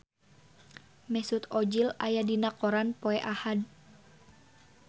Mesut Ozil aya dina koran poe Ahad